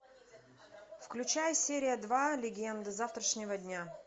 включай серия два легенда завтрашнего дня